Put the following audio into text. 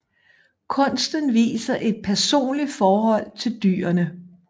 Kunsten viser et personligt forhold til dyrene